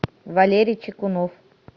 валерий чекунов